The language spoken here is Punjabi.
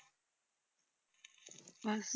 ਬਸ